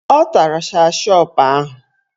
Ọ tara shashọp ahụ